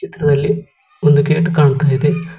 ಚಿತ್ರದಲ್ಲಿ ಒಂದು ಗೇಟ್ ಕಾಣ್ತಾ ಇದೆ.